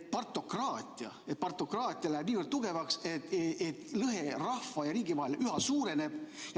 Partokraatia läheb niivõrd tugevaks, et lõhe rahva ja riigi vahel üha suureneb.